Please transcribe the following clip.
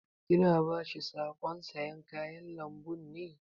Ki na ba shi saƙon sayan kayan lambun ne?